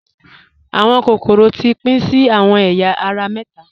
Awọn kokoro ti pin sí awọn èya ara méta.